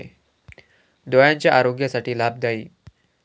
डोळ्यांच्या आरोग्यासाठी लाभदायी